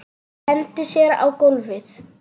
Hendir sér á gólfið.